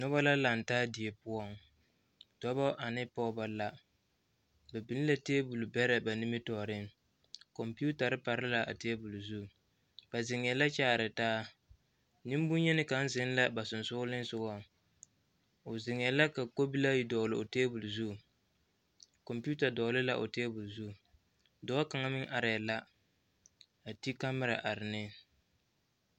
Noba la lantaa die poɔ dɔbɔ ane pɔgeba la ba biŋ la tebol bɛrɛ ba nimitɔɔreŋ kompeetare pare la a tebol zu ba zeŋɛɛ a kyaare taa neŋ boŋyeni ka zeŋ la ba sensɔglensɔgaŋ o zeŋɛɛ la ka kobilii ayi dɔgle o tebol zu kompeeta dɔgle la o tebol zu dɔɔ kaŋa meŋ arɛɛ la a ti kamerɛ are ne.